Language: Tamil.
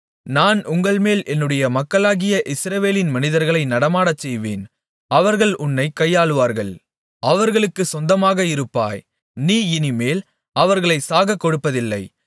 நான் உங்கள்மேல் என்னுடைய மக்களாகிய இஸ்ரவேலின் மனிதர்களை நடமாடச்செய்வேன் அவர்கள் உன்னைக் கையாளுவார்கள் அவர்களுக்குச் சொந்தமாக இருப்பாய் நீ இனிமேல் அவர்களைச் சாகக்கொடுப்பதில்லை